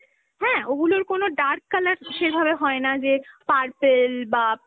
হ্যাঁ? ওগুলোর কোনো dark colour সেভাবে হয় না যে purple বা